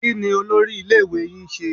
Kí ni olórí iléèwé yín ń ṣe?